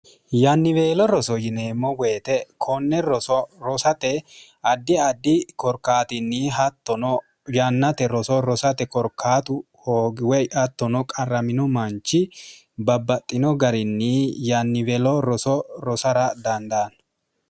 yanniweelo roso yineemmo woyite konne roso rosate addi addi korkaatinni hattono yannate roso rosate korkaatu hoogiwoy attono qarramino manchi babbaxxino garinni yanniwelo roso rosara dandaanno